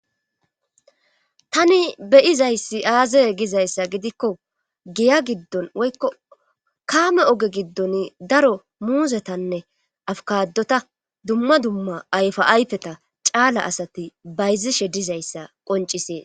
Tani beyizayssi aazaye gizayssa gidikko giya giddon woykko kaame oge giddon daro muuzetanne afkadota dumma dumma ayfa ayfeta caala asati bayzishe dizayssa qoncisees.